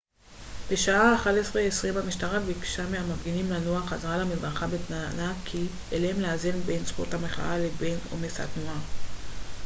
בשעה 11:20 המשטרה ביקשה מהמפגינים לנוע חזרה למדרכה בטענה כי עליהם לאזן בין זכות המחאה לבין עומס התנועה